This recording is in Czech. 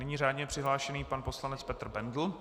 Nyní řádně přihlášený pan poslanec Petr Bendl.